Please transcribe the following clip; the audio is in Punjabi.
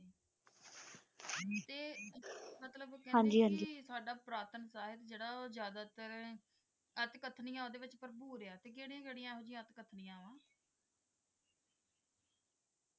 ਹਾਂਜੀ ਹਾਂਜੀ ਮਤਲਬ ਸਾਡਾ ਪੁਰਾਤਨ ਸਾਹਿਤ ਜਿਹੜਾ ਉਹ ਜਿਆਦਾਤਰ ਅੱਠ ਕਥਨੀਆਂ ਜਿਹੜੀਆਂ ਓਹਦੇ ਚ ਭਰਪੂਰ ਆ